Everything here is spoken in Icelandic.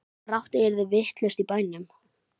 Brátt yrði allt vitlaust í bænum.